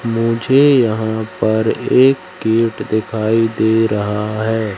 मुझे यहां पर एक गेट दिखाई दे रहा है।